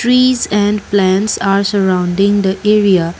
trees and plants are surrounding the area.